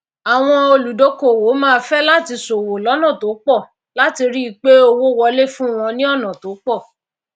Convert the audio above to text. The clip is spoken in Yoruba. àwọn olùdókówò máá fé láti sòwò lónà tó pò láti ríi pé owó wolé fún wọn ní ònà tópò